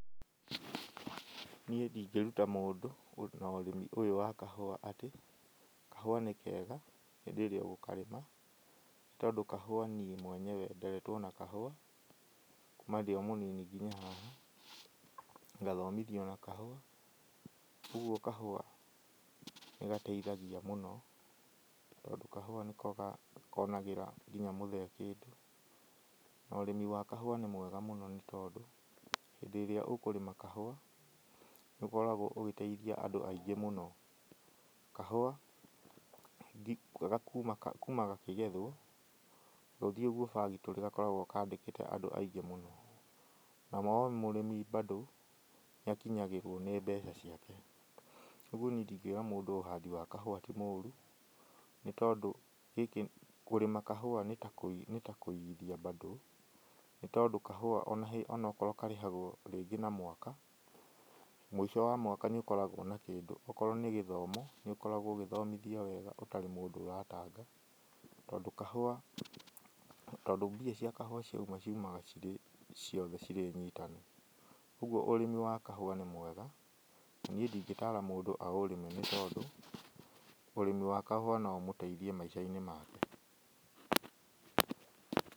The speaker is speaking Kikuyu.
Niĩ ndingĩruta mũndũ na ũrĩmi ũyũ wa kahũa atĩ, kahũa nĩ kega hĩndĩ ĩrĩa ũgũkarĩma. Tondũ kahũa niĩ mweyewe nderetwo na kahũa, kuma ndio mũnini nginya haha, ngathomithio na kahũa. Ũguo kahũa nĩ gateithagia mũno tondũ kahũa nĩko konagĩra nginya mũthee kĩndũ. Na ũrĩmi wa kahũa nĩ mwega mũno nĩ tondũ hĩndĩ ĩrĩa ũkũrĩma kahũa, nĩ ũkoragwo ũgĩteithia andũ aingĩ mũno. Kahũa kuma gakĩgethwo gũthiĩ ũguo factory gakoragwo kandĩkĩte andũ aingĩ mũno. Number one mũrĩmi bando, nĩ akinyagĩrwo nĩ mbeca ciake. Ũguo niĩ ndingĩra mũndũ ũhandi wa kahũa ti mũru nĩ tondũ kũrĩma kahũa nĩ ta kũigithia bando nĩ tondũ kahũa onokorwo karĩhagwo rĩngĩ na mwaka, mũico wa mwaka nĩ ũkoragwo na kĩndũ. Okorwo nĩ gĩthomo, nĩ ũkoragwo ũgĩthomithia wega ũtarĩ mũndũ ũratanga. Tondũ kahũa tondũ mbia cia kahũa cioima ciumaga cirĩ ciothe cirĩ nyitanu. Ũguo ũrĩmi wa kahũa nĩ mwega. Niĩ ndingĩtara mũndũ a ũrĩme nĩ tondũ, ũrĩmi wa kahũa no ũmũteithie maica-inĩ make.